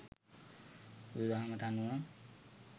බුදු දහමට අනුව